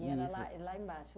era lá lá embaixo.